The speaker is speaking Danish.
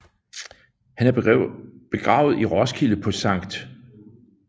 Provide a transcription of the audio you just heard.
Han er begravet i Roskilde på Skt